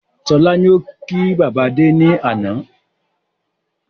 Sọlá ni ó ki bàbá Adé ni àná